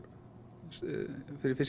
fyrir